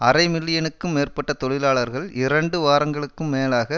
அரை மில்லியனுக்கும் மேற்பட்ட தொழிலாளர்கள் இரண்டு வாரங்களுக்கும் மேலாக